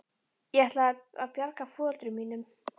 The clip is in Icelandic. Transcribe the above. Ég ætlaði að bjarga foreldrum mínum.